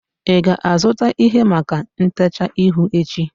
ị ga-azụta ihe maka ntecha ihu echi?